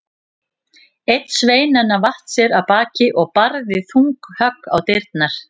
Einn sveinanna vatt sér af baki og barði þung högg á dyrnar.